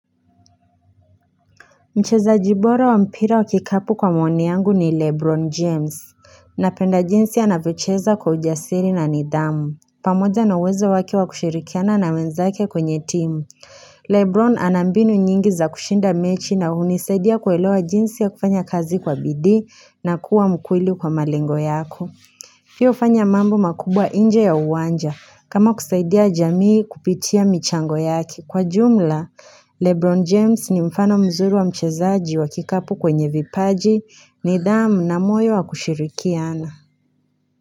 Mchezaji bora wa mpira wa kikapu kwa maoni yangu ni Lebron James. Napenda jinsi anavyocheza kwa ujasiri na nidhamu. Pamoja na uwezo wake wa kushirikiana na wenzake kwenye timu. Lebron ana mbinu nyingi za kushinda mechi na hunisaidia kuelewa jinsi ya kufanya kazi kwa bidii na kuwa mkweli kwa malengo yako. Pia hufanya mambo makubwa nje ya uwanja kama kusaidia jamii kupitia michango yake. Kwa jumla, Lebron James ni mfano mzuri wa mchezaji wa kikapu kwenye vipaji nidhamu na moyo wa kushirikiana.